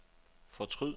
fortryd